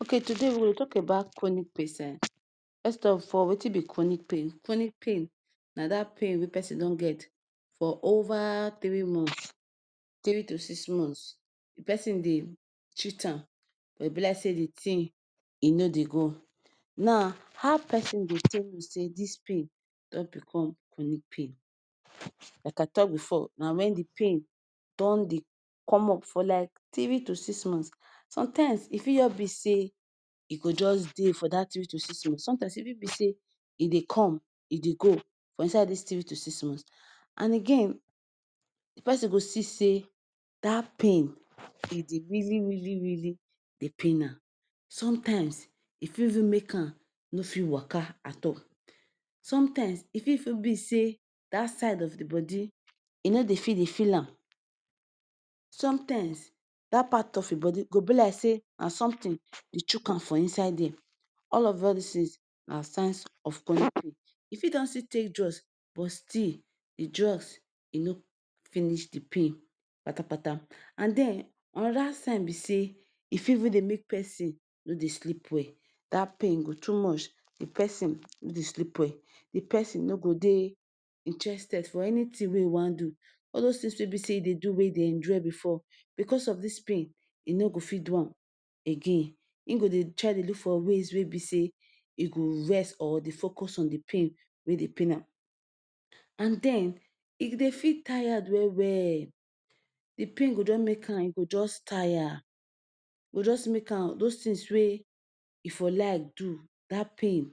Okay, today we go dey tok about chronic pesin. First of all, wetin be chronic pain? Chronic pain na pain wey pesin don get for over three months three to six months. Di pesin dey treat am but e be like say di tin e no dey go. Now, how pesin go take know say dis pain don bicom chronic pain? Like I tok bifor, na when di pain don dey come up for like three to six months. Sometimes e fit just be say e go just dey for dat three to six months. Sometimes e fit be say e dey come, e dey go for inside dis three to six months. And again, di pesin go see say dat pain really really really dey pain am. Sometimes, e fit even make am no fit waka at all. Sometimes e fit even be say that side of di body e no dey fit dey feel am. Sometimes dat part of im body go be like say na somtin dey chuck am for inside dia. All of all dis tins na signs of chronic pain. You fit don still take drugs, but still di drugs e no finish di pain kpatakpata. And den anoda sign be say e fit even dey make pesin no dey sleep well. Dat pain go too much. di pesin no dey sleep well, di pesin no go dey interested for anything wey e wan do. All dis tins wey we say e dey do, wey e dey enjoy bifor bicos of dis pain e no go fit do am again. Im go dey try dey look for ways wey e go rest or focus on di pain wey dey pain am. And den, im go dey feel tired well well. Di pain go don make am E go just tire. E go just make am dos tins wey e for like do. Dat pain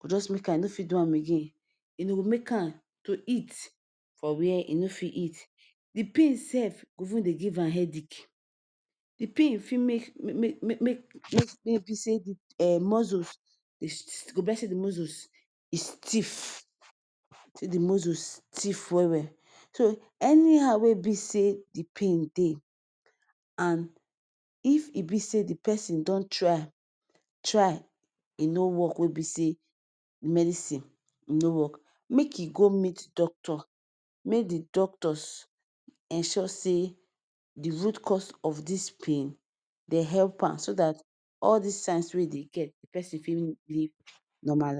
go make am no fit do am again and e go make am to eat, for were, e no fit eat. Di pain sef go even dey give am headache. Di pain fit make be say di muscles de go be like say the muscles e stiff say di muscles stiff well well. So anyhow wey e be say di pain dey, and if e be say di pesin don try, try e no work, wey be say medicine no work make e go meet doctor. Make di doctors ensure say di root cause of dis pain. dem help am, so dat all dis signs wey e dey get di pesin fit live normal life.